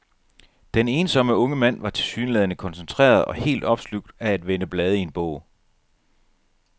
Den ensomme unge mand var tilsyneladende koncentreret og helt opslugt af at vende blade i en bog.